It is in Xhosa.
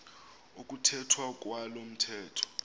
ukuthethwa kwalo mthetho